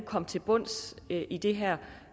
komme til bunds i det her